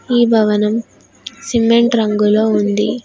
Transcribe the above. ఈ భవనం సిమెంట్ రంగులో ఉంది.